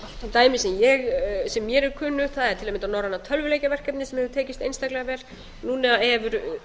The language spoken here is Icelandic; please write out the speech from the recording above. dæmi sem mér er kunnugt það er til að mynda norræna tölvuleikjaverkefnið sem hefur tekist einstaklega vel núna eru